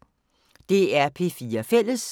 DR P4 Fælles